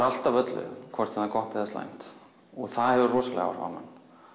allt af öllu hvort sem það er gott eða slæmt og það hefur rosaleg áhrif á mann